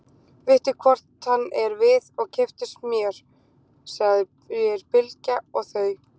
Vittu hvort hann er við og keyptu smjör, segir Bylgja og þau